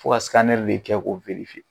Fo ka de kɛ ko